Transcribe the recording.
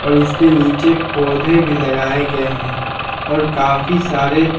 और इसके नीचे पौधे भी लगाए गए हैं और काफी सारे--